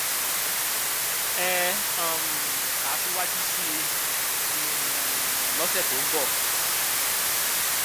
ẹ um kà á síwájú sí i um lọsẹ tó ń bọ